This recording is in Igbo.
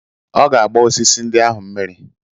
Ọ ga-agba osisi ndị ahụ mmiri